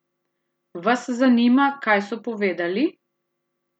Vas zanima, kaj so povedali?